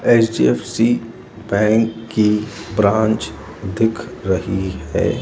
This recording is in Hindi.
एच_डी_एफ_सी बैंक की ब्रांच दिख रही है।